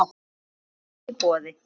Kaffi í boði.